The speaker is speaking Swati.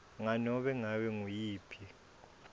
nganobe ngabe nguyiphi